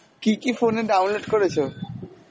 কী কী phone এ download করেছো?